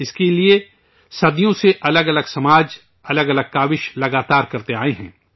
اس کے لیے صدیوں سے الگ الگ سماج، الگ الگ کوشش لگاتار کرتے آئے ہیں